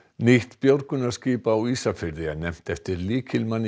nýtt björgunarskip á Ísafirði er nefnt eftir lykilmanni í